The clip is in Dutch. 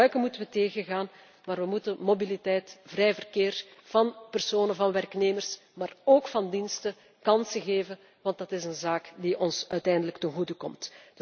zijn. Misbruiken moeten wij tegengaan, maar wij moeten mobiliteit, vrij verkeer van personen, van werknemers, maar ook van diensten, kansen geven, want dat is een zaak die ons uiteindelijk ten goede